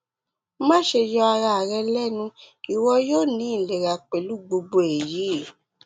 maṣe yọ ara rẹ lẹnu iwọ yoo ni ilera pẹlu gbogbo eyi